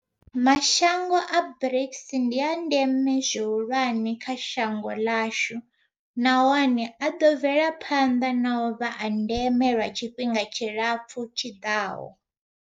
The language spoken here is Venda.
Mashango a BRICS ndi a ndeme zwihulwane kha shango ḽashu, nahone a ḓo bvela phanḓa na u vha a ndeme lwa tshifhinga tshilapfu tshiḓaho.